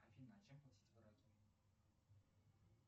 афина а чем платить в ираке